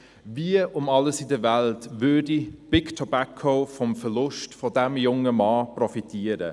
«Wie um alles in der Welt würde Big Tobacco vom Verlust dieses jungen Mannes profitieren?